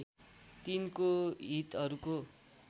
तिनको हितहरूको